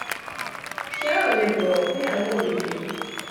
ṣé um o ò lè bọ̀wọ̀ fún ìyàwó mi ni